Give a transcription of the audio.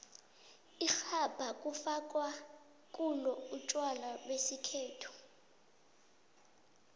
irhabha kufakwa kulo utjwala besikhethu